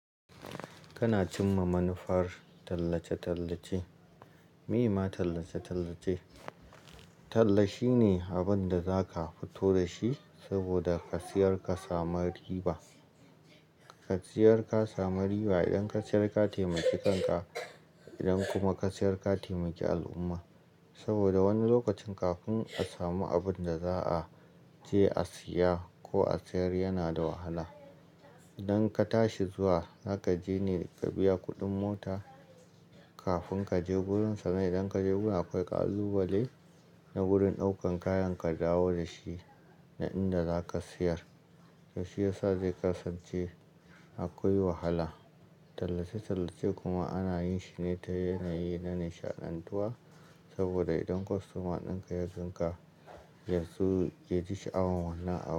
Kana cimma manufar tallace-tallace. Meye ma tallace-tallace? Talla shine abinda zaka fito dashi saboda ka siyar ka samu riba. Ka siyar ka sami riba idan ka siyar ka taimaki kanka, idan kuma ka siyar ka taimaki al'umma. Saboda wani lokacin kafin ka samu abinda za'aje a siya ko a siyar yana da wahala. Idan ka tashi zuwa, zaka je ne ka biya kuɗin mota kafin kaje gurin sane. Idan kaje gurin akwai ƙalubale na gurin ɗaukan kayan ka dawo dashi nan inda zaka siyar. Ya shiyasa zai kasance akwai wahala. Tallace-tallace kuma ana yinshi ne ta yanayi na nishaɗantuwa. Saboda idan kwastoma ɗinka ya tsinka, ya ji sha'awan wannan abu.